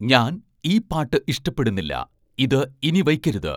ഞാൻ ഈ പാട്ട് ഇഷ്ടപ്പെടുന്നില്ല ഇത് ഇനി വയ്ക്കരുത്